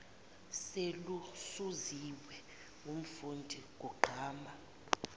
seluzuziwe ngumfundi kugqama